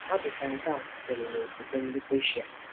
Ọ dị ka nke a sitere n’okwukwe ndị Persian.